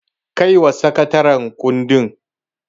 Kaiwa sakataren kundin.